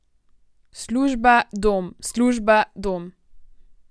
Služba, dom, služba, dom ...